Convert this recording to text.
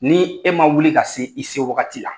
Ni e man wuli ka se i se wagati la.